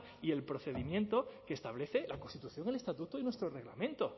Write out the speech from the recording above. y el procedimiento que establece la constitución el estatuto y nuestro reglamento